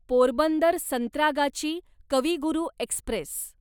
Porbandar Santragachi Kavi Guru Express